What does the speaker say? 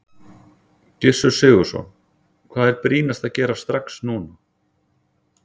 Gissur Sigurðsson: Hvað er brýnast að gera strax núna?